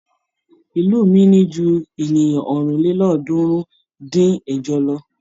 Ìlú mi ní ju ènìyàn ọ̀rìnlélọ́ọ̀ọ́dúnrún-dín-ẹ̀jọ lọ.